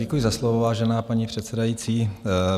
Děkuji za slovo, vážená paní předsedající.